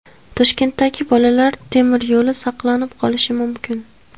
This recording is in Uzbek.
Toshkentdagi Bolalar temir yo‘li saqlanib qolishi mumkin.